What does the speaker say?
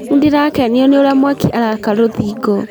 Nĩndĩrakenio nĩ ũrĩa mwaki araka rũthingo